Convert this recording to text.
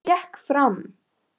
Hún gekk fram.